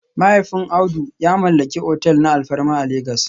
Mahaifin Audu ya mallaki otel na alfarma a Legas